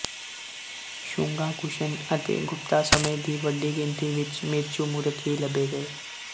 ਸ਼ੂੰਗਾ ਕੁਸ਼ਨ ਅਤੇ ਗੁਪਤਾ ਸਮੇਂ ਦੀ ਵੱਡੀ ਗਿਣਤੀ ਵਿੱਚ ਮਿਰਚੂ ਮੂਰਤ ਵੀ ਲੱਭੇ ਗਏ